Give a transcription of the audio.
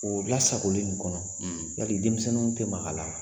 O lasagolen nin kɔnɔ, , yali denmisɛnninw tɛ mag'a la?